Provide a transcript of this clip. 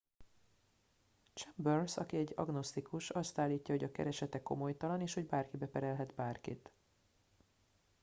chambers aki egy agnosztikus azt állítja hogy a keresete komolytalan és hogy bárki beperelhet bárkit